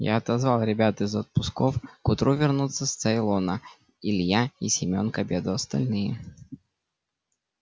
я отозвал ребят из отпусков к утру вернутся с цейлона илья и семён к обеду остальные